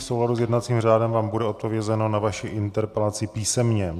V souladu s jednacím řádem vám bude odpovězeno na vaši interpelaci písemně.